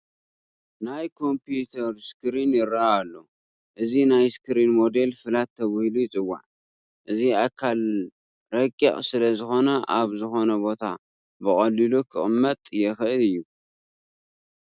ናይ ኮምፒዩተር ስክሪን ይርአ ኣሎ፡፡ እዚ ናይ ስክሪን ሞዴል ፍላት ተባሂሉ ይፅዋዕ፡፡ እዚ ኣካል ረቂቕ ስለዝኾነ ኣብ ዝኾነ ቦታ ብቐሊሉ ክቕመጥ የኽእል እዩ፡፡